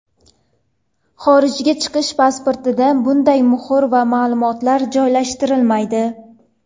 Xorijga chiqish pasportida bunday muhr va ma’lumotlar joylashtirilmaydi.